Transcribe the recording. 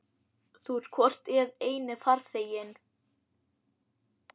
Þú ert hvort eð er eini farþeginn.